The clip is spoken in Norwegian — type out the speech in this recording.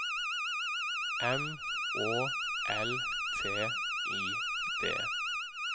M Å L T I D